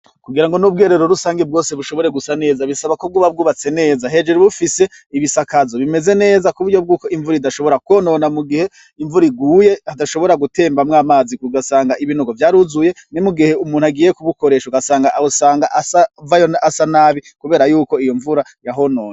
Kugira ngo n'ubwerero rusange bwose bushobore gusa neza bisaba ko bwuba bwubatse neza hejuru bufise ibisakazo bimeze neza ku buryo bw'uko imvura idashobora kwonona mu gihe imvura iguye hadashobora gutembamwo amazi kugasanga ibinogo vyaruzuye ni mu gihe umuntu agiye kubukoresha ugasanga awo sanga asavayo asanabi, kubera yuko iyo mvura ya honona.